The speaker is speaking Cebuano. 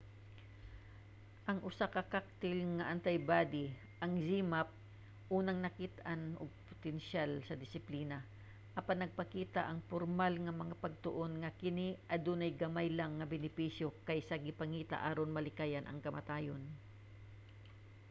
ang usa ka cocktail nga antibody ang zmapp unang nakit-an og potensiyal sa disiplina apan nagpakita ang pormal nga mga pagtuon nga kini adunay gamay lang nga benepisyo kaysa sa gipangita aron malikayan ang kamatayon